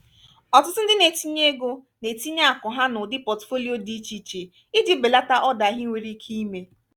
ọtụtụ ndị na-etinye ego na-etinye akụ ha n'ụdị pọtụfoliyo dị iche iche iji belata odahi nwere ike ime